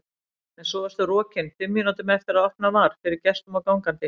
En svo varstu rokin fimm mínútum eftir að opnað var fyrir gestum og gangandi.